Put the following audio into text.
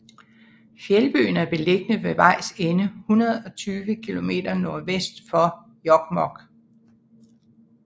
Fjeldbyen er beliggende ved vejs ende 120 kilometer nordvest for Jokkmokk